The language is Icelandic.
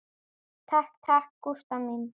Takk takk, Gústa mín.